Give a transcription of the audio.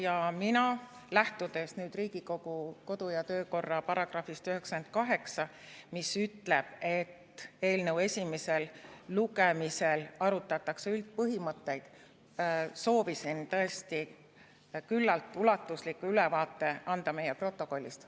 Ja mina, lähtudes Riigikogu kodu‑ ja töökorra seaduse §‑st 98, mis ütleb, et eelnõu esimesel lugemisel arutatakse üldpõhimõtteid, soovisin tõesti küllalt ulatusliku ülevaate anda meie protokollist.